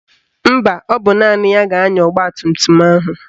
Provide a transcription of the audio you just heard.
Mba, ọ bụ naanị ya ga-anya ọgbatumtum ahụ